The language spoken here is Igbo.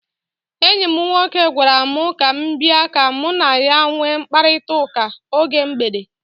Enyi m nwoke gwara m ka m bia ka mụ na ya nwee mkparịkọtaụka oge mgbede.